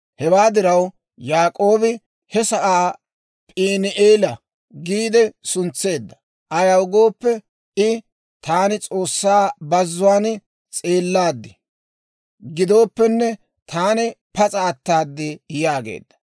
Hewaa diraw Yaak'oobi he sa'aa P'iini"eela giide suntseedda; ayaw gooppe I, «Taani S'oossaa bazzuwaan s'eellaad; gidooppenne taani pas'a ataad» yaageedda.